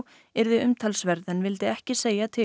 yrði umtalsverð en vildi ekki segja til